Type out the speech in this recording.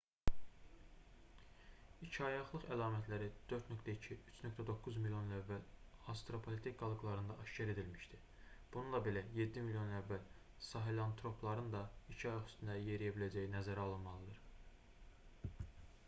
i̇kiayaqlılıq əlamətləri 4,2-3,9 milyon il əvvəl avstralopitek qalıqlarında aşkar edilmişdi bununla belə yeddi milyon il əvvəl sahelantropların da iki ayaq üstündə yeriyə biləcəyi nəzərə alınmalıdır